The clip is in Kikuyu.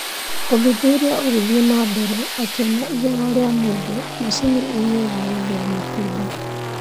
ũthuthuria ũgĩthiĩ na mbere akĩona igego rĩa mũndũ macini-inĩ ya gũthĩa matunda